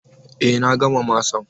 Eh, na gama masan.